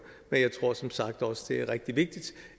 men jeg tror som sagt også det er rigtig vigtigt